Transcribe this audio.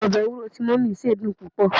obe ewuro ti mummy se dun pupo